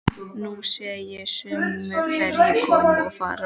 Nú sé ég sömu ferju koma og fara.